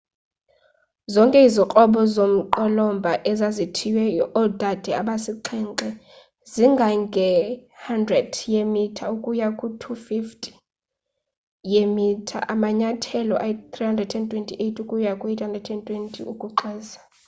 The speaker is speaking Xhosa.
zonke izikrobo zomqolomba ezazithiywe oodade abasixhenxe zingange 100 yeemitha ukuya ku-250 weemitha amanyathelo ayi328 ukuya ku820 ukuxwesa